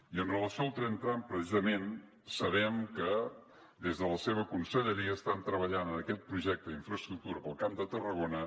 i amb relació al tren tram precisament sabem que des de la seva conselleria estan treballant en aquest projecte d’infraestructura pel camp de tarragona